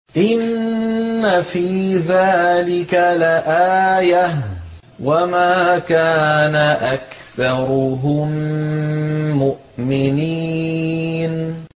إِنَّ فِي ذَٰلِكَ لَآيَةً ۖ وَمَا كَانَ أَكْثَرُهُم مُّؤْمِنِينَ